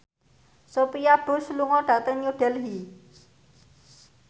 Sophia Bush lunga dhateng New Delhi